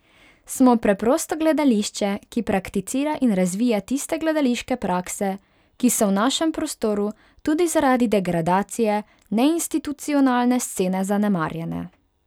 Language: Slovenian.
Smo preprosto gledališče, ki prakticira in razvija tiste gledališke prakse, ki so v našem prostoru tudi zaradi degradacije neinstitucionalne scene zanemarjane.